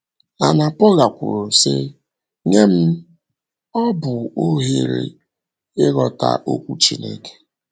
Anna - Paula kwuru, sị: “ Nye m, ọ bụ ohere ịghọta Okwu Chineke.